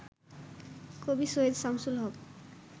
কবি সৈয়দ শামসুল হক